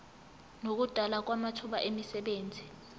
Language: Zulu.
nokudalwa kwamathuba emisebenzi